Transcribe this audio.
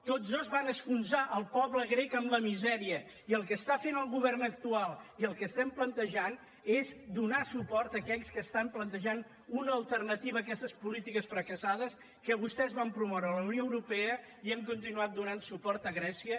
tots dos van enfonsar el poble grec en la misèria i el que està fent el govern actual i el que estem plantejant és donar suport a aquells que estan plantejant una alternativa a aquestes polítiques fracassades que vostès van promoure a la unió europea i han continuat donant suport a grècia